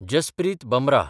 Jasprit Bumrah